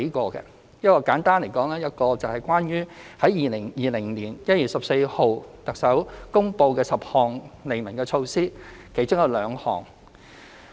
當中一個問題，簡單而言，是關於2020年1月14日，特首公布的10項利民措施的其中兩項。